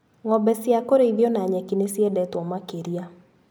Ngombe ciakũrĩithio na nyeki nĩciendetwo makĩria.